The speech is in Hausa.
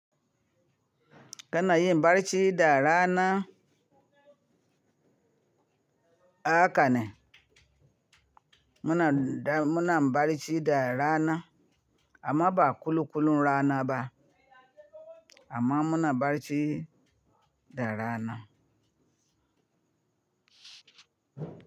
Kana yin barci da rana, haka ne. Muna, muna barci da rana amma ba kulu kulun rana ba amma muna barci da rana.